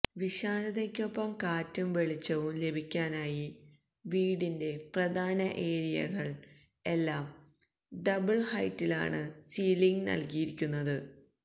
വിശാലതയ്ക്കൊപ്പം കാറ്റും വെളിച്ചവും ലഭിക്കാനായി വീടിന്റെ പ്രധാന ഏരിയകൾ എല്ലാം ഡബിൾ ഹൈറ്റിലാണ് സീലിങ് നൽകിയിരിക്കുന്നത്